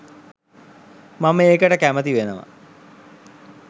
මම ඒකට කැමති වෙනවා